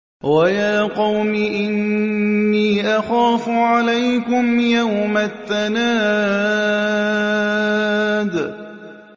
وَيَا قَوْمِ إِنِّي أَخَافُ عَلَيْكُمْ يَوْمَ التَّنَادِ